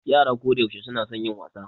Yara kodayaushe suna son yin wasa.